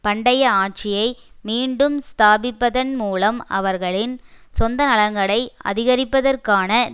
பண்டைய ஆட்சியை மீண்டும் ஸ்தாபிப்பதன் மூலம் அவர்களின் சொந்த நலன்களை அதிகரிப்பதற்கான